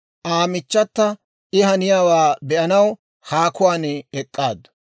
Aa michchata I haniyaabaa be"anaw haakuwaan ek'k'aaddu.